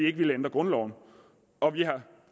ikke ændre grundloven og vi har